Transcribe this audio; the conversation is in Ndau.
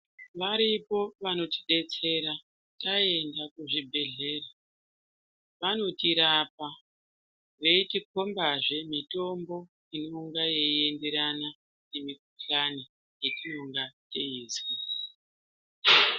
Varipo vanotidetsera taenda kuzvibhedhlera vanotirapa veitikombazve mitombo inonga yeienderana nemikhuhlani yatinonga teizwa.